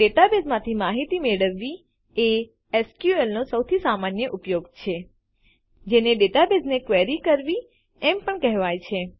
ડેટાબેઝમાંથી માહિતી મેળવવી એ એસક્યુએલ નો સૌથી સામાન્ય ઉપયોગ છે જેને ડેટાબેઝને ક્વેરી કરવી એમ પણ કહેવાય છે